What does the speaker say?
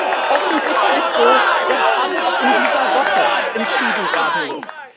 Es ist offensichtlich so, dass alles in dieser Woche entschieden werden muss.